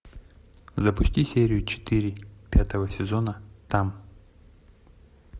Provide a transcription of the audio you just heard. запусти серию четыре пятого сезона там